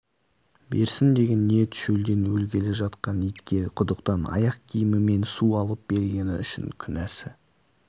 берсін деген ниет шөлден өлгелі жатқан итке құдықтан аяқ киімімен су алып бергені үшін күнәсі